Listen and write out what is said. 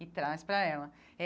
E traz para ela.